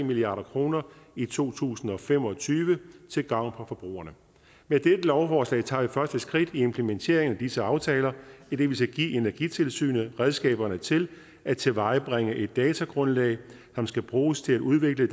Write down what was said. milliard kroner i to tusind og fem og tyve til gavn for forbrugerne med dette lovforslag tager vi det første skridt i implementeringen af disse aftaler idet vi skal give energitilsynet redskaberne til at tilvejebringe et datagrundlag som skal bruges til udvikle